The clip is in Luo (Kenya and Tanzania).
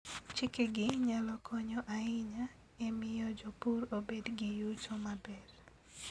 Chikegi nyalo konyo ahinya e miyo jopur obed gi yuto maber.